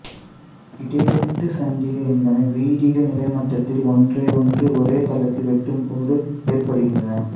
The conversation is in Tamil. இடைவெட்டுச் சந்திகள் என்பன வீதிகள் நிலமட்டத்தில் ஒன்றையொன்று ஒரேதளத்தில் வெட்டும்போது ஏற்படுகின்றன